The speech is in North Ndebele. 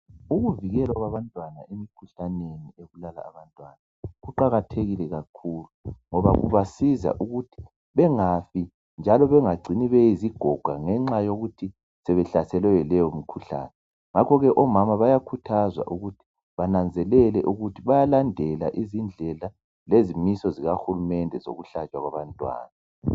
Ukuvikela abantwana emikhuhlaneni ebulala abantwana kuqakathekile kakhulu ngoba kubasiza ukuthi bengafi njalo bengacini sebeyizigoga ngenxa yokuthi sebehlaselwe yileyo mikhuhlane. Ngakho ke omama bayakhuthazwa ukuthi bananzelele ukuthi bayalandela izindlela lezimiso zikahulumende ezokuhlatshwa kwabantwana.